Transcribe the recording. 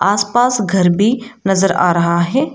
आस पास घर भी नजर आ रहा है।